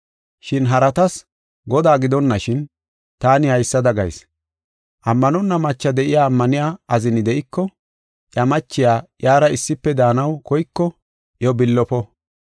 Shin haratas Godaa gidonashin, taani haysada gayis. Ammanonna macha de7iya ammaniya azini de7iko, iya machiya iyara issife daanaw koyko iyo billofo.